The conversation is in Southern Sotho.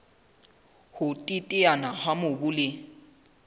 ho teteana ha mobu le